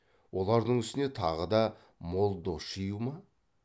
олардың үстіне тағы да мол дос жию ма